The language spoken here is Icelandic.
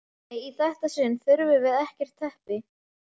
Nei, í þetta sinn þurfum við ekkert teppi.